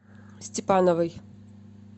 степановой